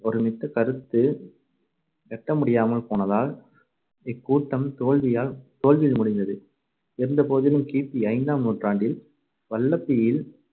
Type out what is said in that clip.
ஒருமித்தக்கருத்து எட்டமுடியாமல் போனதால் இக்கூட்டம் தோல்வியால் தோல்வியில் முடிந்தது. இருந்தபோதிலும் கி பி ஐந்தாம் நூற்றாண்டில் வல்லபியில்